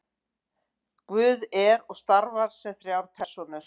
guð er og starfar sem þrjár persónur